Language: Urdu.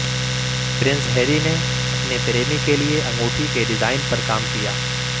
پرنس ہیری نے اپنے پریمی کے لئے انگوٹی کے ڈیزائن پر کام کیا